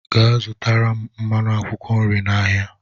Gaa zụtara m mmanụ akwụkwọ nri n'ahịa!